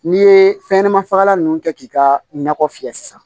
N'i ye fɛnɲɛnɛma fagalan ninnu kɛ k'i ka nakɔ fiyɛ sisan